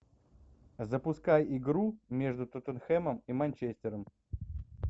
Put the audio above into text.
запускай игру между тоттенхэмом и манчестером